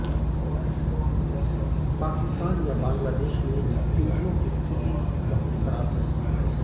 पाकिस्तान या बांग्लादेश में हिन्दुओं की स्थिति बहुत खराब है